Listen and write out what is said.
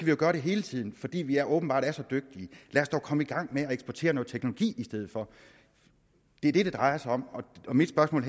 jo gøre det hele tiden fordi vi åbenbart er så dygtige lad os dog komme i gang med at eksportere noget teknologi i stedet for det er det det drejer sig om mit spørgsmål